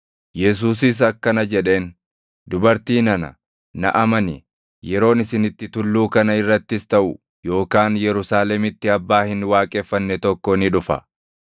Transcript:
Yesuusis akkana jedheen; “Dubartii nana, na amani; yeroon isin itti tulluu kana irrattis taʼu yookaan Yerusaalemitti Abbaa hin waaqeffanne tokko ni dhufa.